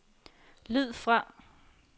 lyd fra